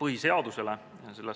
põhiseadusele.